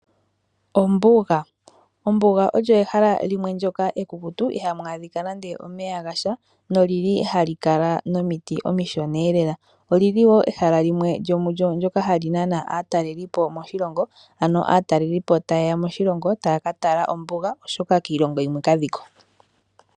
Ombuga olyo ehala limwe ndyoka ekukutu iha mu adhika nande omeya gasha nolili ha li kala nomiti omishona lela oli li wo ehala limwe ndyoka hali nana aatalelipo moshilongo ano aatalelipo ta yeya moshilongo taya ka tala ombuga oshoka kiilongo yimwe kadhiko.